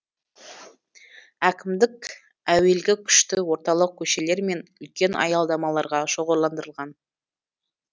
әкімдік әуелгі күшті орталық көшелер мен үлкен аялдамаларға шоғырландырылған